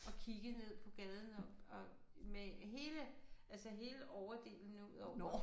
Og kiggede ned på gaden og og med hele altså hele overdelen udover